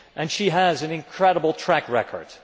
She has an incredible track record.